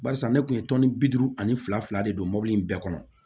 Barisa ne kun ye tɔni bi duuru ani fila fila de don mobili in bɛɛ kɔnɔ